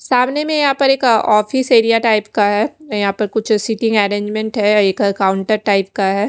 सामने में यहाँ पर एक ऑफिस एरिया टाइप का है यहाँ पर कुछ सिटी अरेंजमेंट है एक काउन्टर टाइप का है।